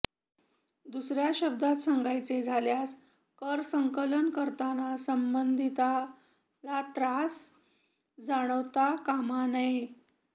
दुसऱ्या शब्दांत सांगायचे झाल्यास करसंकलन करताना संबंधिताला त्रास जाणवता कामा नये